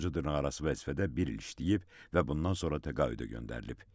Sonuncu dırnaqarası vəzifədə bir il işləyib və bundan sonra təqaüdə göndərilib.